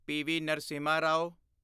PV. Narasimha Rao